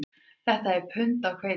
Þetta er pund af hveiti